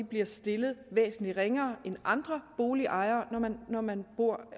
bliver stillet væsentlig ringere end andre boligejere når man bor